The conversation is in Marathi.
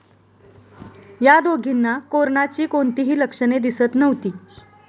या दोघींना कोरनाची कोणतीही लक्षणे दिसत नव्हती.